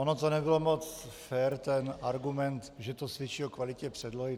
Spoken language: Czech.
Ono to nebylo moc fér, ten argument, že to svědčí o kvalitě předlohy.